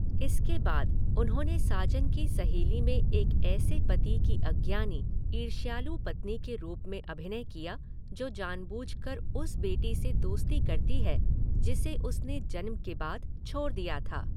इसके बाद, उन्होंने साजन की सहेली में एक ऐसे पति की अज्ञानी, ईर्ष्यालु पत्नी के रूप में अभिनय किया जो जानबूझकर उस बेटी से दोस्ती करती है जिसे उसने जन्म के बाद छोड़ दिया था।